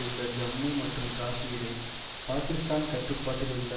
உள்ள ஜம்மு மற்றும் காஷ்மீரை பாக்கிஸ்தான் கட்டுப்பாட்டில் உள்ள